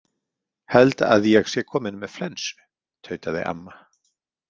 Held að ég sé komin með flensu, tautaði amma.